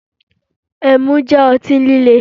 Ẹmu jẹ́ ọtí líle